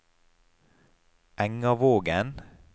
Engavågen